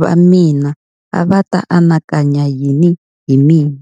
va mina a va ta anakanya yini hi mina.